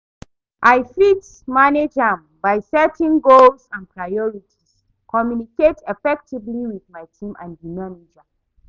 I fit manage am by setting clear goals and priorities, communicate effectively with my team and di manager.